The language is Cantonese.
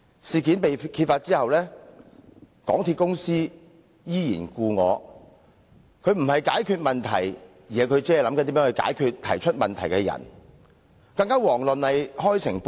事件曝光後，港鐵公司行事方式依舊，不但未有解決問題，反而設法針對提出問題的人，更遑論開誠布公。